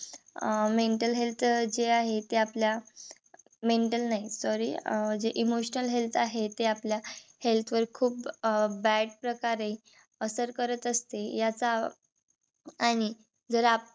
अं mental health जे आहे ते आपल्या mental नाही. sorry जे emotional health आहे. ते आपल्या health वर खूप अह bad प्रकारे करत असते. याचा आणि जर आपण